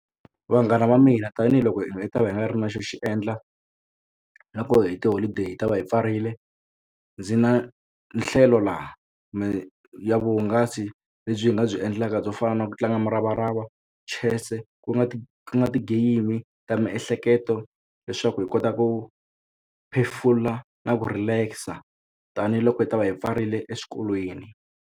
Vanghana va mina tanihiloko hi ta va hi nga ri na xo xi endla nakohi hi tiholideyi hi ta va yi pfarile ndzi na nhlelo laha ya vuhungasi lebyi hi nga byi endlaka byo fa na ku tlanga muravarava chess ku nga ti nga ti-game ta miehleketo leswaku hi kota ku phefula na ku relax-a tanihiloko hi ta va hi pfarile eswikolweni.